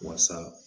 Wasa